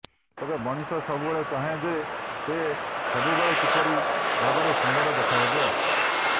ତେବେ ମଣିଷ ସବୁବେଳେ ଚାହେଁ ଯେ ସେ ସବୁବେଳେ କିପରି ଭାବରେ ସୁନ୍ଦର ଦେଖାହେବ